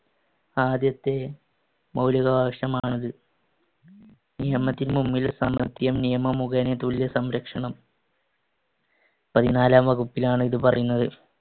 ആദ്യത്തെ മൗലികാവകാശമാണ് അത്. നിയമത്തിന് മുൻപിൽ സമത്വം, നിയമം മുഖേന തുല്യ സംരക്ഷണം. പതിനാലാം വകുപ്പിലാണ് ഇത് പറയുന്നത്.